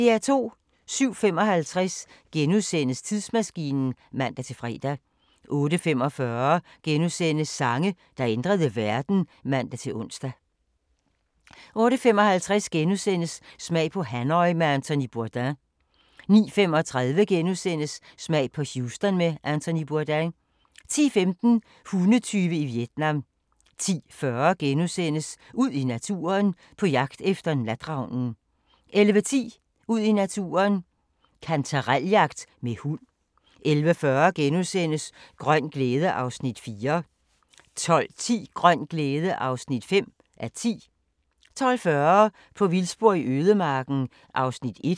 07:55: Tidsmaskinen *(man-fre) 08:45: Sange, der ændrede verden *(man-ons) 08:55: Smag på Hanoi med Anthony Bourdain * 09:35: Smag på Houston med Anthony Bourdain * 10:15: Hundetyve i Vietnam 10:40: Ud i naturen: På jagt efter natravnen * 11:10: Ud i naturen: Kantarel-jagt med hund 11:40: Grøn glæde (Afs. 4)* 12:10: Grøn glæde (5:10) 12:40: På vildspor i ødemarken (1:6)